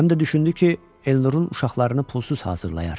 Həm də düşündü ki, Elnurun uşaqlarını pulsuz hazırlayar.